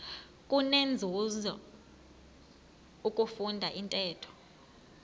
kunenzuzo ukufunda intetho